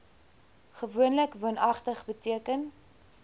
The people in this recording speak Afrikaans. gewoonlik woonagtig beteken